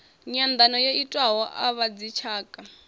nyanḓano yo itiwaho a vhadzitshaka